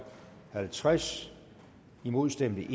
halvtreds imod stemte